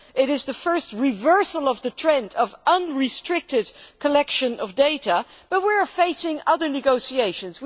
It is the first reversal of the trend of unrestricted collection of data, and we are facing other negotiations.